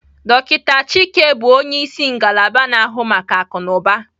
Dokịta Chike bụ onye isi ngalaba na-ahụ maka akụnụba.